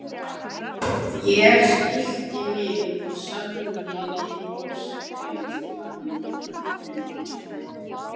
Ég stillti mig og sagði við Ásgrím